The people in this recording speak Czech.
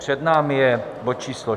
Před námi je bod číslo